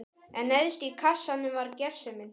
En neðst í kassanum var gersemin.